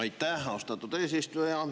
Aitäh, austatud eesistuja!